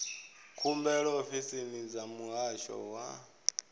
khumbelo ofisini dza muhasho wa